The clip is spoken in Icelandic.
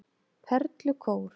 Perlukór